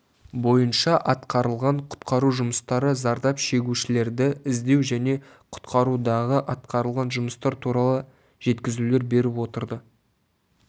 бойынша атқарылған құтқару жұмыстары зардап шегушілерді іздеу және құтқарудағы атқарылған жұмыстар туралы жеткізулер беріп отырды